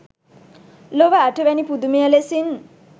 ලොව අටවැනි පුදුමය ලෙසින්